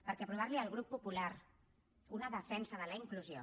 perquè aprovar li al grup popular una defensa de la inclusió